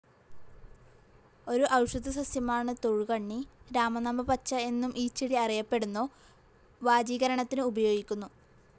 ഒരു ഔഷധസസ്യമാണു് തൊഴുകണ്ണി. രാമനാമപ്പച്ച എന്നും ഈ ചെടി അറിയപ്പെടുന്നു. വാജീകരണത്തിന് ഉപയോഗിക്കുന്നു.